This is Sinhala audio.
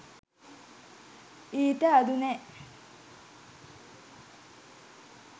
ඊට අඩු නෑ